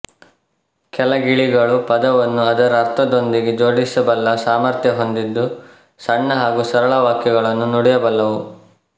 ಕೆಲ ಗಿಳಿಗಳು ಪದವನ್ನು ಅದರ ಅರ್ಥದೊಂದಿಗೆ ಜೋಡಿಸಬಲ್ಲ ಸಾಮರ್ಥ್ಯ ಹೊಂದಿದ್ದು ಸಣ್ಣ ಹಾಗೂ ಸರಳ ವಾಕ್ಯಗಳನ್ನು ನುಡಿಯಬಲ್ಲವು